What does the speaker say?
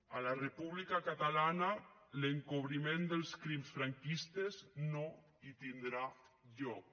a la república catalana l’encobriment dels crims franquistes no hi tindrà lloc